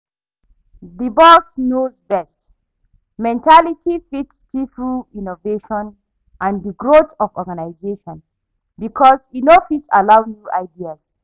di 'boss knows best' mentality fit stifle innovation and di growth of organization because e no fit allow new ideas.